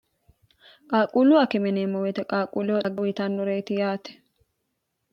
qaaquullu akeme yineemmo woyite qaaquullo uyitannureyiti yaate